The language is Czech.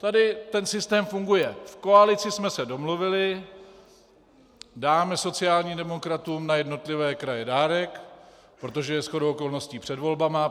Tady ten systém funguje: V koalici jsme se domluvili, dáme sociálním demokratům na jednotlivé kraje dárek, protože je shodou okolností před volbami.